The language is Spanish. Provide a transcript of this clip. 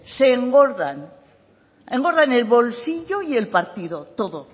se engordan engordan el bolsillo y el partido todo